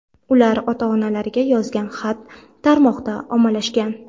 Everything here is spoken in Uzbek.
Ular ota-onalariga yozgan xat tarmoqda ommalashgan .